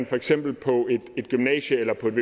for eksempel på et gymnasium